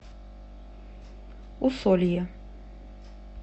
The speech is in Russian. усолье